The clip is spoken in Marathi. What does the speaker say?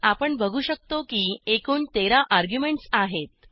आपण बघू शकतो की एकूण 13 अर्ग्युमेंटस आहेत